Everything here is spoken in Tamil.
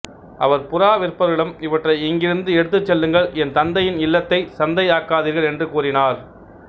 அவர் புறா விற்பவர்களிடம் இவற்றை இங்கிருந்து எடுத்துச் செல்லுங்கள் என் தந்தையின் இல்லத்தைச் சந்தை ஆக்காதீர்கள் என்று கூறினார்